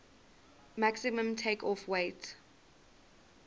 maximum takeoff weight